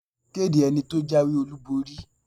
Kéde ẹni tó jáwé-olúborí!